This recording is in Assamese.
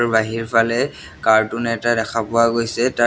বাহিৰফালে কাৰ্টুন এটা দেখা পোৱা গৈছে তাৰ--